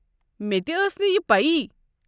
مےٚ تہِ ٲس نہٕ یہِ پیہ ۔